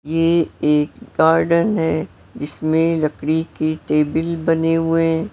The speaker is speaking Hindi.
ये एक गार्डन है जिसमें लकड़ी के टेबल बने हुए है।